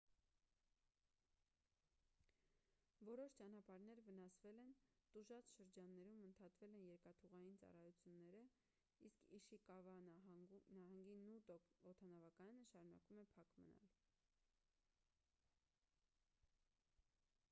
որոշ ճանապարհներ վնասվել են տուժած շրջաններում ընդհատվել են երկաթուղային ծառայությունները իսկ իշիկավա նահանգի նոտո օդանավակայանը շարունակում է փակ մնալ